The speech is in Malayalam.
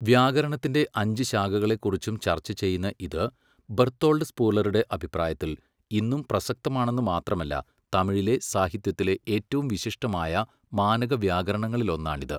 വ്യാകരണത്തിന്റെ അഞ്ച് ശാഖകളെക്കുറിച്ചും ചർച്ചചെയ്യുന്ന ഇത്, ബെർത്തോൾഡ് സ്പൂലറുടെ അഭിപ്രായത്തിൽ, ഇന്നും പ്രസക്തമാണെന്നു മാത്രമല്ല തമിഴിലെ സാഹിത്യത്തിലെ ഏറ്റവും വിശിഷ്ടമായ മാനക വ്യാകരണങ്ങളിലൊന്നാണിത്.